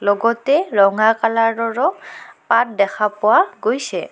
লগতে ৰঙা কালাৰৰো পাত দেখা পোৱা গৈছে।